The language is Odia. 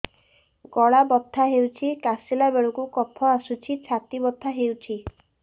ଗଳା ବଥା ହେଊଛି କାଶିଲା ବେଳକୁ କଫ ଆସୁଛି ଛାତି ବଥା ହେଉଛି